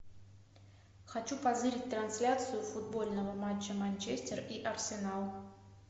хочу позырить трансляцию футбольного матча манчестер и арсенал